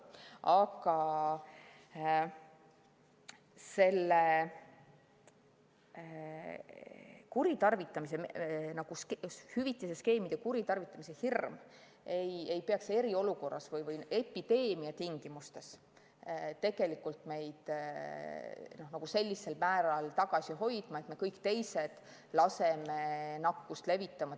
Aga hüvitise skeemide kuritarvitamise hirm ei peaks eriolukorras või epideemia tingimustes meid sellisel määral tagasi hoidma, et me kõik teised laseme tööle nakkust levitama.